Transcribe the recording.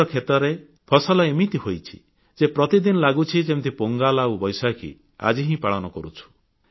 ଏଥର କ୍ଷେତରେ ଫସଲ ଏମିତି ହୋଇଛି ଯେ ପ୍ରତିଦିନ ଲାଗୁଛି ଯେମିତି ପୋଙ୍ଗଲ ଆଉ ବୈଶାଖୀ ଆଜି ହିଁ ପାଳନ କରୁଛୁ